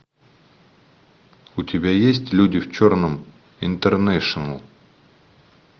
у тебя есть люди в черном интернэшнл